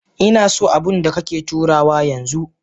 Inaso abunda kake turawa yanzu.